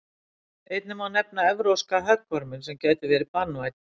einnig má nefna evrópska höggorminn sem getur verið banvænn